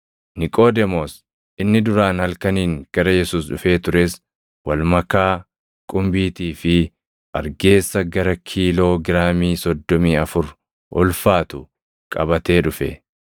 Niqoodemoos inni duraan halkaniin gara Yesuus dhufee tures walmakaa qumbiitii fi argeessa gara kiiloo giraamii soddomii afur ulfaatu qabatee dhufe.